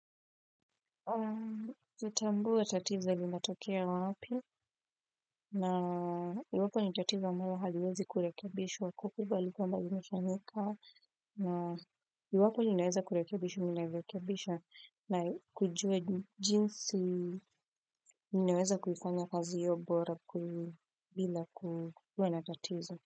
Zotambua tatizo limatokea wapi na iwapo ni tatiza mawa haliwezi kulakebisha wa kukubali kwa mbadi mshanika na iwapo ninaweza kulakebisha mbadi mshanika na ywapo ninaweza kulakebisha na kujue jinsi ninaweza kufanya kazi iyo bora ku bila kuwe na tatizo.